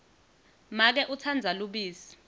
make utsandza lubisi